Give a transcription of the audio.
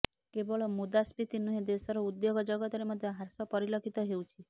କେବଳ ମୁଦ୍ରାସ୍ପିତି ନୁହେଁ ଦେଶର ଉଦ୍ୟୋଗ ଜଗତରେ ମଧ୍ୟ ହ୍ରାସ ପରିଲଖିତ ହେଉଛି